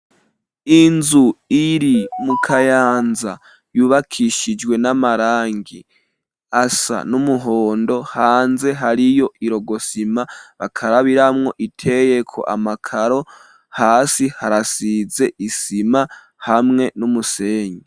Inzu, iri mu kayanza, yubakishijwe n'amarangi, asa n'umuhondo; hanze hariyo irogosima, bakarabiramwo, iteyeko amakaro; hasi harasize isima, hamwe n'umusenyi.